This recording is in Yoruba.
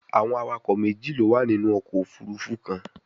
Awọn awakọ meji lo wa ninu ọkọ ofurufu kan